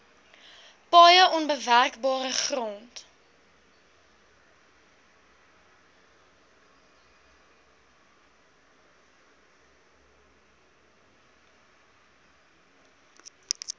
paaie onbewerkbare grond